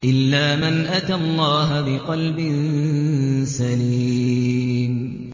إِلَّا مَنْ أَتَى اللَّهَ بِقَلْبٍ سَلِيمٍ